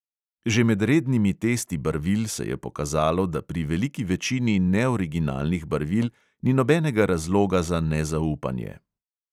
Že med rednimi testi barvil se je pokazalo, da pri veliki večini neoriginalnih barvil ni nobenega razloga za nezaupanje.